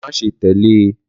Má ṣe tẹ̀lé e